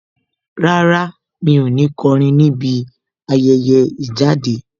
Rárá, mi ò ní kọrin níbi ayẹyẹ ìjáde.